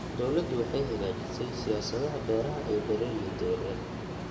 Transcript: Dawladdu waxay hagaajisay siyaasadaha beeraha ee beeralayda yaryar.